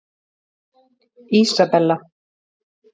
Ísabella